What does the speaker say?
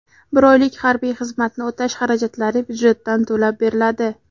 bir oylik harbiy xizmatni o‘tash xarajatlari byudjetdan to‘lab beriladi.